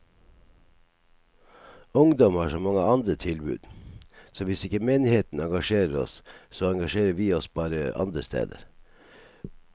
Ungdom har så mange andre tilbud, så hvis ikke menigheten engasjerer oss, så engasjerer vi oss bare andre steder.